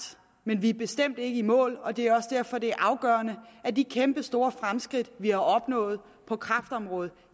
men vi er bestemt ikke i mål og det er også derfor det er afgørende at de kæmpestore fremskridt vi har opnået på kræftområdet og